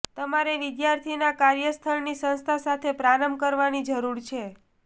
તમારે વિદ્યાર્થીના કાર્યસ્થળની સંસ્થા સાથે પ્રારંભ કરવાની જરૂર છે